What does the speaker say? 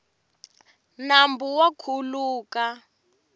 nambu wa khuluka